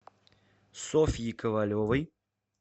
софьи ковалевой